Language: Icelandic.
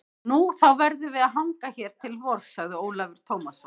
Nú, þá verðum við að hanga hér til vors, sagði Ólafur Tómasson.